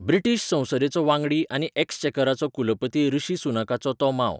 British संसदेचो वांगडी आनी एक्स्चेकराचो कुलपती ऋषी सुनकाचो, तो मांव.